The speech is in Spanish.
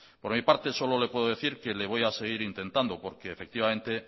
por mi parte solo le puedo decir que le voy a seguir intentando porque